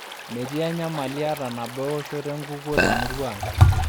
Metii enyamali ata nabo ewoshoto enkukuo te murua ang'.